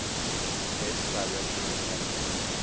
best director academy